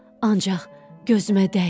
Ancaq gözümə dəymə.